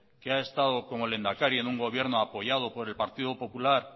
que ha estado como lehendakari en un gobierno apoyado por el partido popular